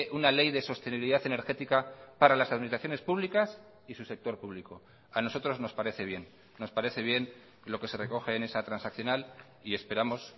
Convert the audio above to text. una ley de sostenibilidad energética para las administraciones públicas y su sector público a nosotros nos parece bien nos parece bien lo que se recoge en esa transaccional y esperamos